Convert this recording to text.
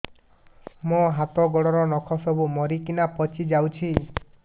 ମୋ ହାତ ଗୋଡର ନଖ ସବୁ ମରିକିନା ପଚି ଯାଉଛି